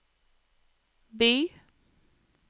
by